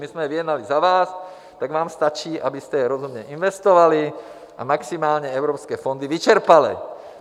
My jsme je vyjednali za vás, tak vám stačí, abyste je rozumně investovali a maximálně evropské fondy vyčerpali.